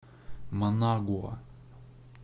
манагуа